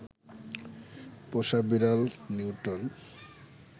পোষা বেড়াল নিউটন